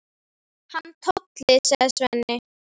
Hann Tolli, sagði Svenni.